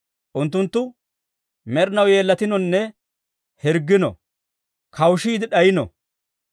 Unttunttu med'inaw yeellatinonne hirggino; kawushiide d'ayino.